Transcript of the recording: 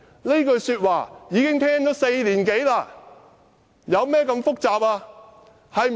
這句說話聽了4年多，問題究竟有多複雜？